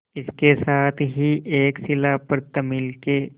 इसके साथ ही एक शिला पर तमिल के